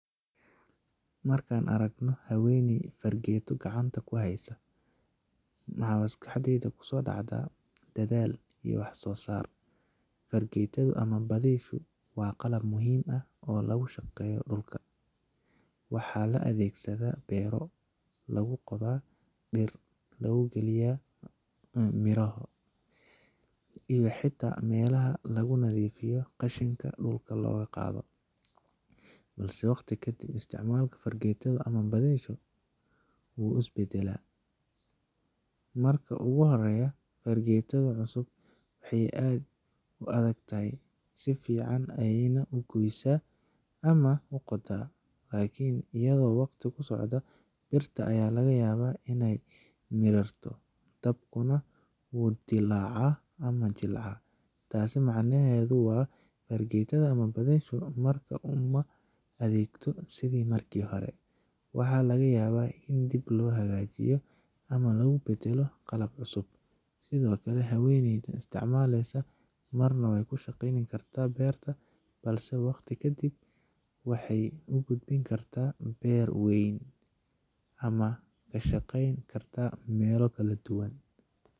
Marka aan aragno haweeney fargeeto gacanta ku haysa, waxa maskaxdayda kusoo dhacda dadaal iyo wax soo saar. Fargeetadu ama badiishu waa qalab muhiim ah oo lagu shaqeeyo dhulka waxaa la adeegsadaa beero lagu qodo, dhir lagu beero, iyo xitaa meelaha lagu nadiifiyo qashinka dhulka loga qaado. Balse waqti ka dib, isticmaalka fargeetadu ama badiahu wuu is beddelaa. Marka ugu horreya, fargeetada cusub waxay aad u adag tahay, si fiican ayeyna u goysa ama u qoddaa. Laakiin iyadoo waqtigu socdo, birta ayaa laga yaabaa in ay mirirto, daabkuna wuu dillaacaa ama jilcaa. Taas macnaheedu waa, fargeetada markaas uma adeegto sidii markii hore. Waxa laga yaabaa in dib loo hagaajiyo ama lagu beddelo qalab cusub. Sidoo kale, haweeneyda isticmaashay marna waxay ku shaqayn kartaa beer yar, balse waqti ka dib, waxay u gudbi kartaa beer weyn ama ka shaqayn karta meelo kala duwan.